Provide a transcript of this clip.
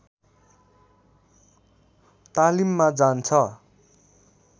तालिममा जान्छ